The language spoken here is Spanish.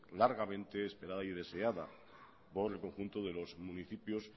largamente esperada y deseada por el conjunto de los municipios